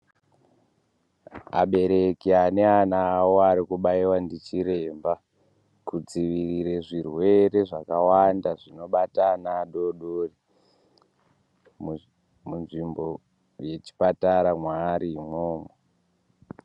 Abereki ane ana awo arikubaiwa ndichiremba kudziirire zvirwere zvakawanda zvinobata ana adodori munzvimbo yechipatara mwaarimwo.